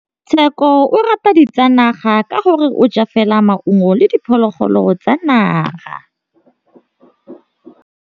Tshekô o rata ditsanaga ka gore o ja fela maungo le diphologolo tsa naga.